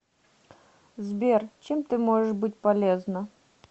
сбер чем ты можешь быть полезна